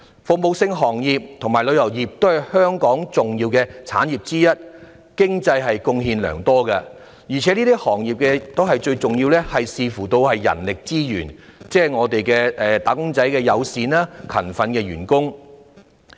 服務性行業及旅遊業都是香港的重要產業，經濟貢獻良多，而對這些行業最重要的是人力資源，即友善和勤奮的員工。